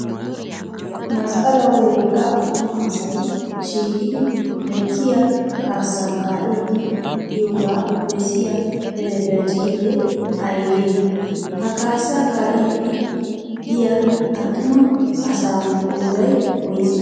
Masqqalawu wogga attuma asayi shiiqidi lekkiyaa kaassa kaa''iddi diyooga bessiyaa telbeejiinee ayigee? Ha kaassa kaa''ddi diya attuma asaa qoodayi woyisee?